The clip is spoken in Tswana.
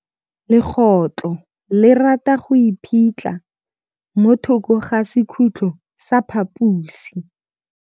Legôtlô le rata go iphitlha mo thokô ga sekhutlo sa phaposi.